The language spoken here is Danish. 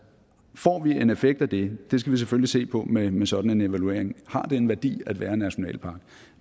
får vi en effekt af det det skal vi selvfølgelig se på med med sådan en evaluering har det en værdi at være en nationalpark